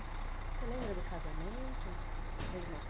Você lembra do casamento?